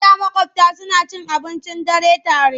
A da maƙwabta suna cin abincin dare tare.